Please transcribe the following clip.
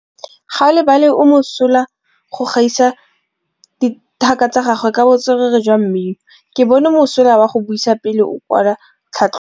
Gaolebalwe o mosola go gaisa dithaka tsa gagwe ka botswerere jwa mmino. Ke bone mosola wa go buisa pele o kwala tlhatlhobô.